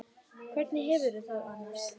Hvernig hefurðu það annars?